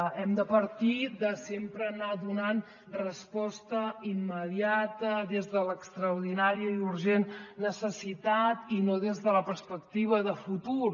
hem de partir de sempre anar donant resposta immediata des de l’extraordinària i urgent necessitat i no des de la perspectiva de futur